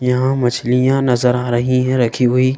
यहाँ मछलियां नजर आ रही हैं रखी हुई।